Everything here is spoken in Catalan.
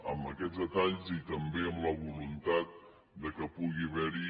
amb aquests detalls i també amb la voluntat que pugui haver hi